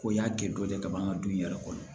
Ko y'a kɛ dɔ de ye ka ban n ka du in yɛrɛ kɔnɔ